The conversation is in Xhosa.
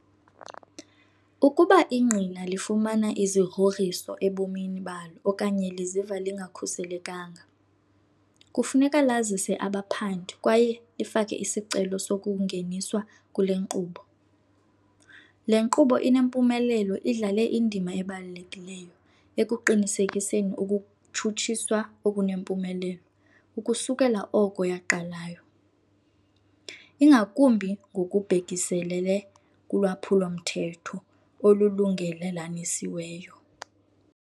Ukuba ingqina lifumana izigrogriso ebomini balo okanye liziva lingakhuselekanga, kufuneka lazise abaphandi kwaye lifake isicelo sokungeniswa kule nkqubo. Le nkqubo inempumelelo idlale indima ebalulekileyo ekuqinisekiseni ukutshutshiswa okunempumelelo ukusukela oko yaqalayo, ingakumbi ngokubhekiselele kulwaphulo-mthetho olulungelelanisiweyo.